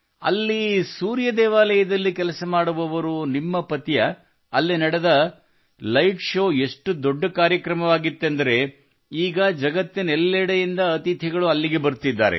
ಅಲ್ಲಿ ಸೂರ್ಯ ದೇವಾಲಯದಲ್ಲಿ ಕೆಲಸ ಮಾಡುವವರು ನಿಮ್ಮ ಪತಿಯೇ ಅಲ್ಲಿ ನಡೆದ ಲೈಟ್ ಶೋ ಎಷ್ಟು ದೊಡ್ಡ ಕಾರ್ಯಕ್ರಮವಾಗಿತ್ತೆಂದರೆ ಈಗ ಜಗತ್ತಿನೆಲ್ಲೆಡೆಯಿಂದ ಅತಿಥಿಗಳು ಅಲ್ಲಿಗೆ ಬರುತ್ತಿದ್ದಾರೆ